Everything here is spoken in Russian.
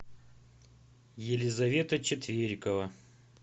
елизавета четверикова